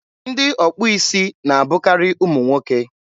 ndị ọkpụ isi na-abụkarị ụmụ nwoke.